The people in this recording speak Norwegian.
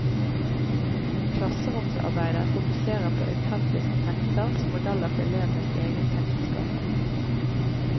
Klasseromsarbeidet fokuserer på autentiske tekster som modeller for elevenes egen tekstskaping.